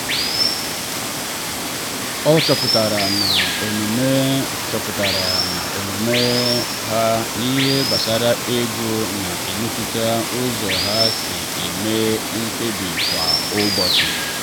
ọ chọpụtara na omume chọpụtara na omume ha n’ihe gbasara ego na-emetụta ụzọ ha si eme mkpebi kwa ụbọchị.